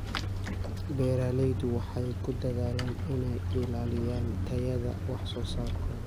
Beeraleydu waxay ku dadaalaan inay ilaaliyaan tayada wax soo saarkooda.